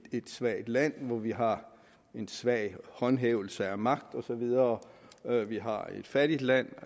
svagt land og hvor vi har en svag håndhævelse af magt og så videre vi har et fattigt land